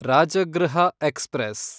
Rajgriha express